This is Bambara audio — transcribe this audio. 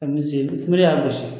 y'a gosi